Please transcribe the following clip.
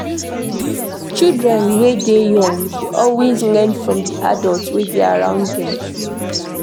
Children wey dey young dey always learn from di adult wey dey around them